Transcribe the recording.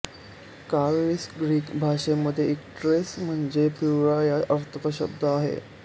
काविळीस Greek भाषेमध्ये icterus म्हणजे पिवळा या अर्थाचा शब्द आहे